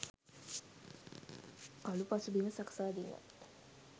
කලු පසුබිම සකසා දීම.